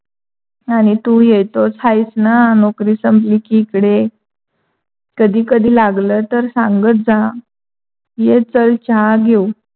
अन तु येतोच आहेस ना? नौकरी संपली की, इकडे कधी कधी लागल, तर सांगत जा. ये चल चहा घेऊ.